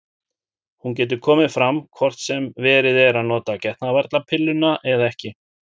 Hún getur komið fram hvort sem verið er að nota getnaðarvarnarpilluna eða ekki.